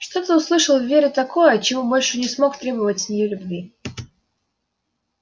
что-то услышал в вере такое от чего больше не смог требовать с нее любви